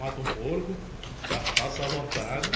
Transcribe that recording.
Mata um porco, cachaça à vontade.